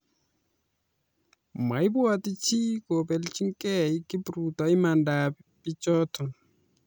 Maipwatchi chi kobelchikey kipruto imanda ap pichoto